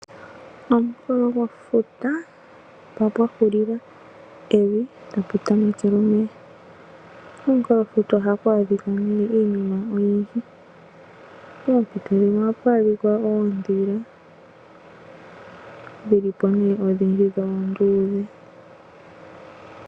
Omunkulo gwefuta mpoka pwa hulila evi , tapu tamekele omeya. Omunkulofuta ohaku adhika nee iinima oyindji poompito dhimwe ohapu adhika oontele dhil i po nee odhindji dho oonduudhe.